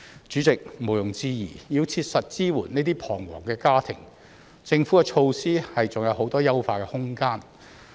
主席，毋庸置疑，要切實支援這些彷徨的家庭，政府的措施還有很多優化的空間。